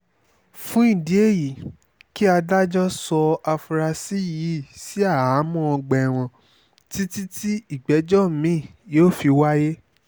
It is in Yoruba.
fún ìdí èyí kí adájọ́ sọ afurasí yìí sí àhámọ́ ọgbà ẹ̀wọ̀n títí tí ìgbẹ́jọ́ mí-ín yóò fi wáyé